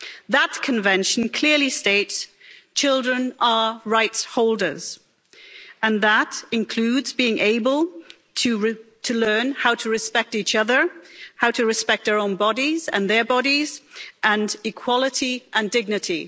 That convention clearly states that children are rights holders, and that includes being able to learn how to respect each other, how to respect our own bodies and their bodies, and equality and dignity.